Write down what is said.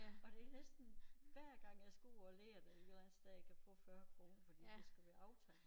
Og det næsten hver gang jeg skal ud og lære det et eller andet sted jeg kan få 40 kroner fordi det skal være aftalt